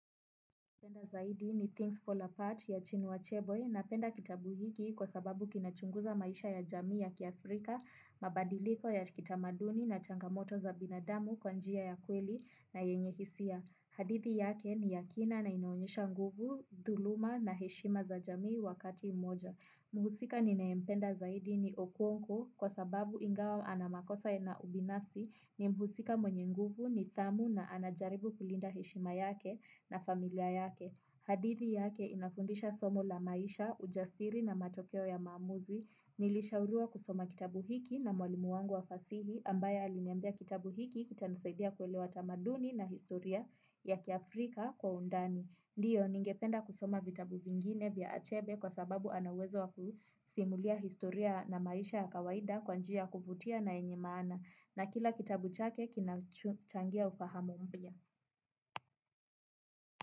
Napenda zaidi ni Things Fall Apart ya Chinua achebe napenda kitabu hiki kwa sababu kina chunguza maisha ya jamii ya kiafrika, mabadiliko ya kitamaduni na changamoto za binadamu kwa njia ya kweli na yenye hisia. Hadithi yake ni yakina na inaonyesha nguvu, dhuluma na heshima za jamii wakati moja. Muhusika ninayempenda zaidi ni okonko kwa sababu ingawa ana makosa na ubinafsi ni mhusika mwenye nguvu nidhamu na anajaribu kulinda heshima yake na familia yake. Hadithi yake inafundisha somo la maisha, ujasiri na matokeo ya maamuzi. Nilishauriwa kusoma kitabu hiki na mwalimu wangu wa fasihi ambaye aliniambia kitabu hiki kita nisaidia kuelewa tamaduni na historia ya kiafrika kwa undani. Ndiyo, ningependa kusoma vitabu vingine vya achebe kwa sababu anauwezo wakusimulia historia na maisha ya kawaida kwanjia kuvutia na yenye maana. Na kila kitabu chake kinachangia ufahamu mpya.